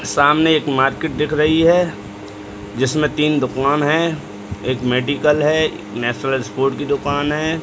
सामने एक मार्केट दिख रही है जिसमे तीन दुकान हैं एक मेडिकल है नेशनल स्पोर्ट की दुकान है।